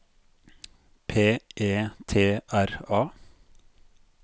P E T R A